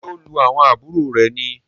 Ṣe o lu àwọn àbúrò rẹ ní?